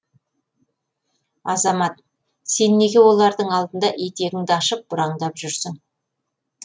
азамат сен неге олардың алдында етегіңді ашып бұраңдап жүрсің